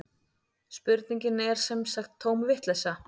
Spurningin er sem sagt tóm vitleysa